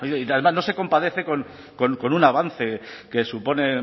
y además no se compadece con un avance que supone